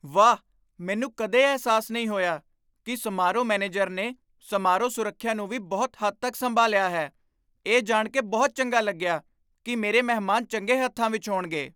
ਵਾਹ, ਮੈਨੂੰ ਕਦੇ ਅਹਿਸਾਸ ਨਹੀਂ ਹੋਇਆ ਕਿ ਸਮਾਰੋਹ ਮੈਨੇਜਰ ਨੇ ਸਮਾਰੋਹ ਸੁਰੱਖਿਆ ਨੂੰ ਵੀ ਬਹੁਤ ਹੱਦ ਤੱਕ ਸੰਭਾਲਿਆ ਹੈ! ਇਹ ਜਾਣ ਕੇ ਬਹੁਤ ਚੰਗਾ ਲੱਗਿਆ ਕਿ ਮੇਰੇ ਮਹਿਮਾਨ ਚੰਗੇ ਹੱਥਾਂ ਵਿੱਚ ਹੋਣਗੇ।